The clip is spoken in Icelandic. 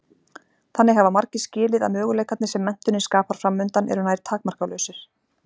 Þannig hafa margir skilið að möguleikarnir sem menntunin skapar framundan eru nær takmarkalausir.